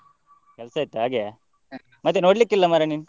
ಕೆಲ್ಸ ಇತ್ತು ಹಾಗೆಯಾ, ಮತ್ತೆ ನೋಡಲಿಕ್ಕಿಲ್ಲ ಮಾರ್ರೆ ನೀನು.